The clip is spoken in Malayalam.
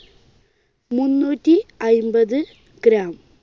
മുന്നൂറ്റി അയ്ൻപത് gram